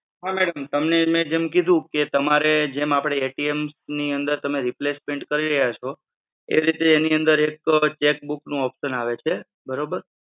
હા madam તમને મે જેમ કીધું કે તમારે જેમ ની અંદર તમે જે replacement કરી રહ્યા છો એ રીતે એની અંદર એક cheque book નો option આવે છે, બરોબર?